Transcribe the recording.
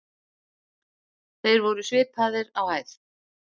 Þeir voru svipaðir á hæð.